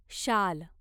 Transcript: शाल